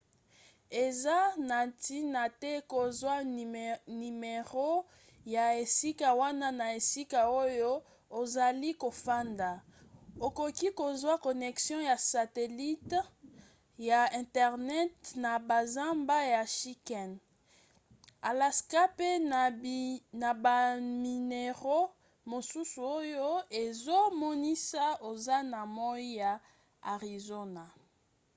eza na ntina te kozwa nimero ya esika wana na esika oyo ozali kofanda; okoki kozwa connection ya satelite ya internet na bazamba ya chicken alaska pe na banimero mosusu oyo ezomonisa oza na moi ya arizona